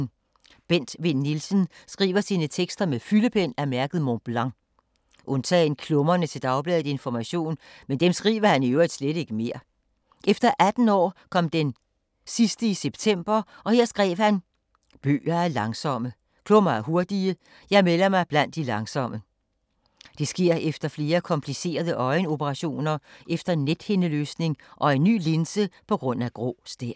Bent Vinn Nielsen skriver sine tekster med fyldepen af mærket Mont Blanc, undtagen klummerne til dagbladet Information, men dem skriver han i øvrigt slet ikke mere. Efter 18 år kom den sidste i september og her skrev han: ”Bøger er langsomme, klummer er hurtige, jeg melder mig blandt de langsomme.” Det sker efter flere komplicerede øjenoperationer efter en nethindeløsning og en ny linse på grund af grå stær.